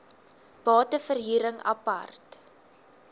bate verhuring apart